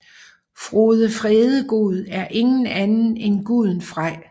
Frode Fredegod er ingen anden end guden Frej